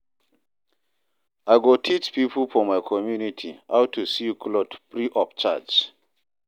I go teach pipo for my community how to sew clothe free of charge.